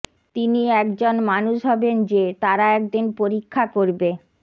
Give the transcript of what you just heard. তিনি একজন মানুষ হবেন যে তারা একদিন পরীক্ষা করবে